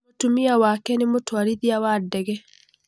Mũtumia wake nĩ mũtwarithia wa ndege.